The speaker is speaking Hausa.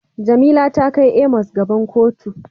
Jamila ta kai Amos gaban kotu.